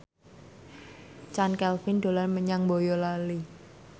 Chand Kelvin dolan menyang Boyolali